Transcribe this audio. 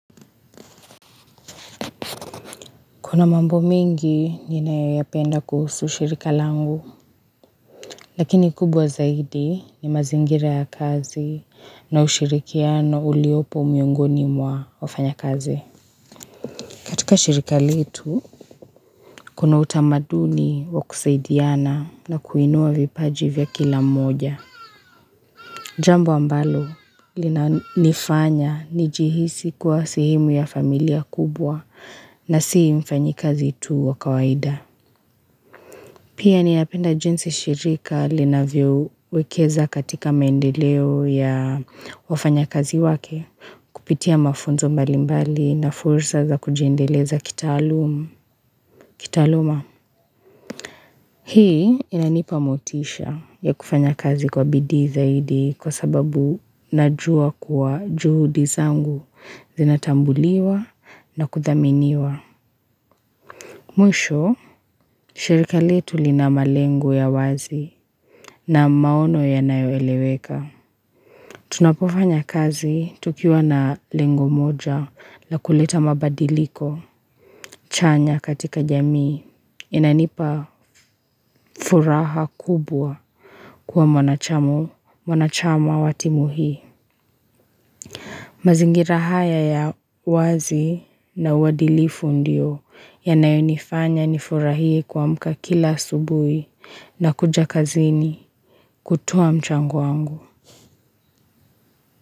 Kuna mambo mengi ninayoyapenda kuhusu shirika langu, lakini kubwa zaidi ni mazingira ya kazi na ushirikiano uliopo miongoni mwa wafanyakazi. Katika shirika letu, kuna utamaduni wa kusaidiana na kuinua vipaji vya kila mmoja. Jambo ambalo linanifanya nijihisi kuwa sehemu ya familia kubwa na si mfanyikazi tu wa kawaida. Pia ninapenda jinsi shirika linavyowekeza katika maendeleo ya wafanyakazi wake, kupitia mafunzo mbalimbali na fursa za kujendeleza kitaaluma. Hii inanipa motisha ya kufanya kazi kwa bidii zaidi kwa sababu najua kuwa juhudi zangu zinatambuliwa na kuthaminiwa. Mwisho, shirika letu lina malengo ya wazi na maono yanayoeleweka. Tunapofanya kazi tukiwa na lengo moja la kuleta mabadiliko chanya katika jamii. Inanipa furaha kubwa kwa mwanachamu, mwanachama wa timu hii. Mazingira hata ya wazi na uadilifu ndio yanayonifanya nifurahie kuamka kula asubuhi na kuja kazini kutoa mchango wangu.